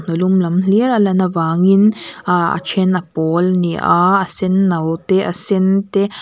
a lum lam hlir a lan avangin aa a ṭhen a pawl a ni a a senno te a sen te--